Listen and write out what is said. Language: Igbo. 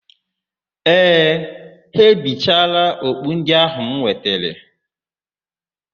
Ee, ha ebichaala okpu ndị áhụ̀ m wetere.